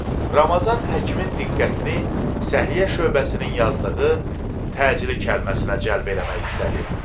Ramazan həkimin diqqətini səhiyyə şöbəsinin yazdığı təcili kəlməsinə cəlb eləmək istədi.